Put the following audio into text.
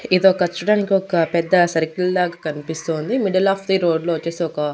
ఇదొక చూడానికొక పెద్ద సర్కిల్ లాగా కన్పిస్తోంది మిడిల్ ఆఫ్ ది రోడ్లో వొచ్చేసి ఒక--